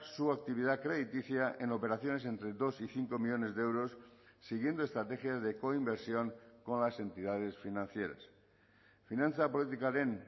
su actividad crediticia en operaciones entre dos y cinco millónes de euros siguiendo estrategias de coinversión con las entidades financieras finantza politikaren